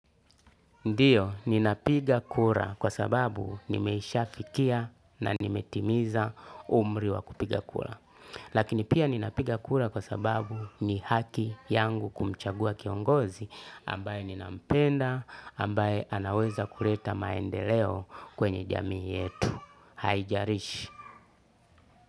Ndiyo, ninapiga kura kwa sababu nimeisha fikia na nimetimiza umri wa kupiga kura. Lakini pia ninapiga kura kwa sababu ni haki yangu kumchagua kiongozi ambaye ninampenda, ambaye anaweza kuleta maendeleo kwenye jamii yetu. Haijarishi.